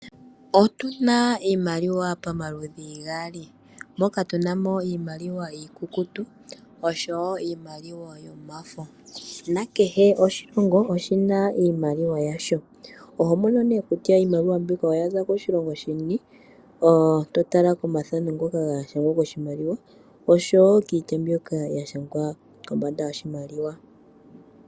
Otu na iimaliwa pomaludhi gaali, moka tu na iimaliwa iikukutu osho wo iimaliwa yomafo. Kehe oshilongo oshi na iimaliwa yasho. Oho mono nduno kutya iimaliwa mbyoka oya za koshilongo shini uuna wa tala komathano ngoka ga thanekwa koshimaliwa osho wo kiitya mbyoka ya shangwa kombanda yoshimaliwa.